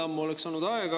Ammu oleks aeg olnud.